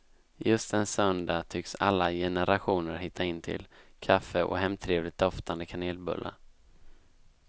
Just en söndag tycks alla generationer hitta in till kaffe och hemtrevligt doftande kanelbullar.